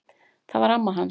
Það var amma hans